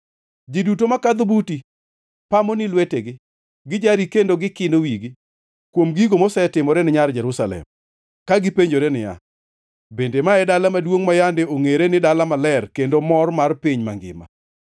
Ji duto makadho buti pamo ni lwetegi; gijari kendo gikino wigi kuom gigo mosetimorene Nyar Jerusalem, ka gipenjore niya, “Bende ma e dala maduongʼ ma yande ongʼere ni dala maler, kendo mor mar piny mangima?”